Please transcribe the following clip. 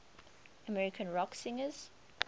american rock singers